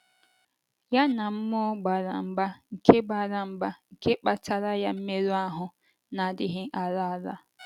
Ya na mmụọ gbara mgba nke gbara mgba nke kpataara ya mmerụ ahụ́ na - adịghị ala ala.